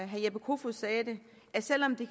herre jeppe kofod sagde det at selv om det